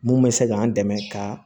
Mun bɛ se k'an dɛmɛ ka